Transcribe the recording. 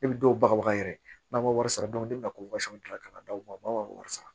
Ne bi dɔw bagabaga yɛrɛ n'an ma wari sara don ne bɛna ko ka na d'u ma u b'a fɔ k'a wari sara